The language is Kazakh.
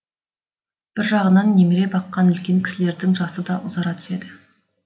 бір жағынан немере баққан үлкен кісілердің жасы да ұзара түседі